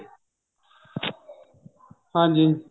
ਹਾਂਜੀ